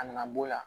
A nana b'o la